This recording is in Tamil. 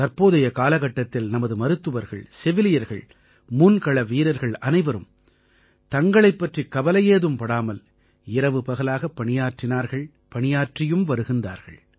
தற்போதைய காலகட்டத்தில் நமது மருத்துவர்கள் செவிலியர்கள் முன்கள வீரர்கள் அனைவரும் தங்களைப் பற்றிக் கவலையேதும் படாமல் இரவுபகலாகப் பணியாற்றினார்கள் பணியாற்றியும் வருகிறார்கள்